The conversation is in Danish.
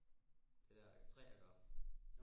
Det der træ der går op